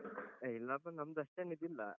A ಇಲ್ಲಪ್ಪ ನಮ್ದಷ್ಟೇನ್ ಇದಿಲ್ಲ.